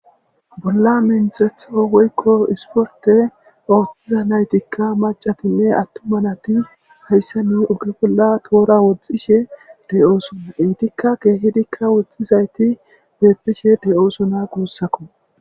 bolla menthetho weykko isporte oohxiza naytikka maca time attumanati hayssa ni ugge bolla toora woxxishe deoosuna eitikka keehidikka woxxizayti beetrishe de7oosuna guussakko